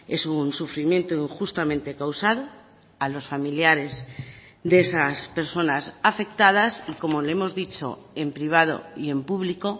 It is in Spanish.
es un sufrimiento injustamente causado a los familiares de esas personas afectadas y como le hemos dicho en privado y en público